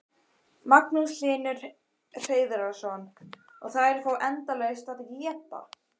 Magnús Hlynur Hreiðarsson: Og þær fá endalaust að éta?